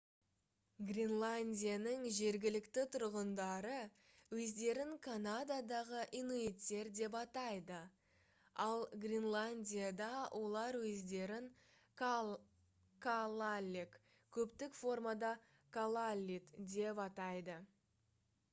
гренландияның жергілікті тұрғындары өздерін канададағы инуиттер деп атайды ал гренландияда олар өздерін калааллек көптік формада калааллит деп атайды